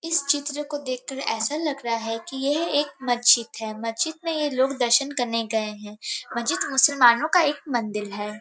इस चित्र को देखकर ऐसा लग रहा है कि यह एक मस्जिद हैमस्जिद में ये लोग दर्शन करने गए हैं मस्जिद मुसलमानों का एक मंदिर है |